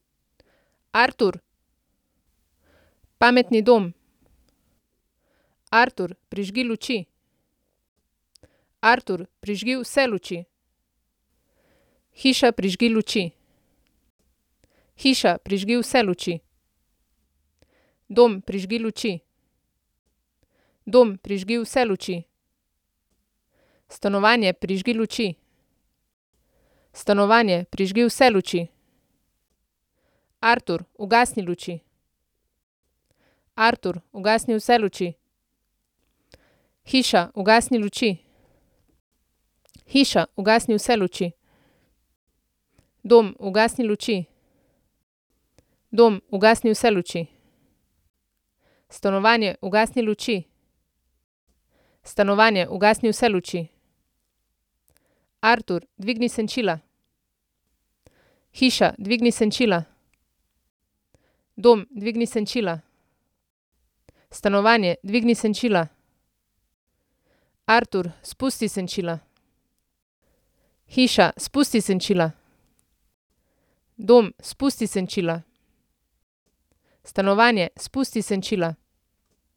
Artur. Pametni dom. Artur, prižgi luči. Artur, prižgi vse luči. Hiša, prižgi luči. Hiša, prižgi vse luči. Dom, prižgi luči. Dom, prižgi vse luči. Stanovanje, prižgi luči. Stanovanje, prižgi vse luči. Artur, ugasni luči. Artur, ugasni vse luči. Hiša, ugasni luči. Hiša, ugasni vse luči. Dom, ugasni luči. Dom, ugasni vse luči. Stanovanje, ugasni luči. Stanovanje, ugasni vse luči. Artur, dvigni senčila. Hiša, dvigni senčila. Dom, dvigni senčila. Stanovanje, dvigni senčila. Artur, spusti senčila. Hiša, spusti senčila. Dom, spusti senčila. Stanovanje, spusti senčila.